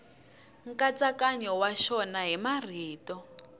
nkatsakanyo wa xona hi marito